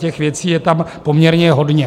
Těch věcí je tam poměrně hodně.